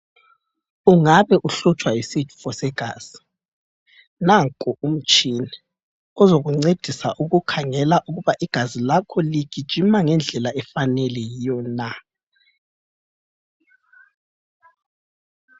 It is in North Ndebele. Ungabe uhlutshwa yisifo segazi, nanko umtshina ozokuncedisa ukukhangela ukuba igazi lakho ligijima ngendlela efaneleyo yiyo na.